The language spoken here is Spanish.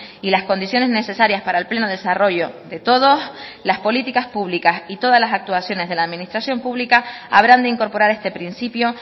y las condiciones necesarias para el pleno desarrollo de todos las políticas públicas y todas las actuaciones de la administración pública habrán de incorporar este principio